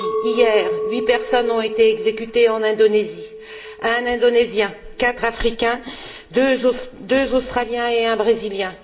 Hier, huit personnes ont été exécutées en Indonésie un Indonésien, quatre Africains, deux Australiens et un Brésilien.